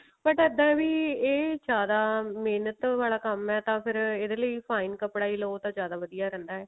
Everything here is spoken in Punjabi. but ਇੱਦਾਂ ਵੀ ਇਹ ਜਿਆਦਾ ਮਿਹਨਤ ਵਾਲਾ ਕੰਮ ਹੈ ਤਾਂ ਫ਼ੇਰ ਇਹਦੇ ਲਈ fine ਕੱਪੜਾ ਲਓ ਤਾਂ ਜਿਆਦਾ ਵਧੀਆ ਰਹਿੰਦਾ